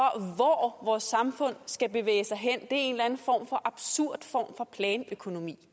hvor vores samfund skal bevæge sig hen en eller anden form for absurd planøkonomi